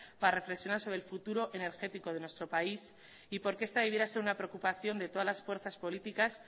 para reflexionar sobre el futuro energético de nuestro país y porque esta debiera ser una preocupación de todas las fuerzas políticas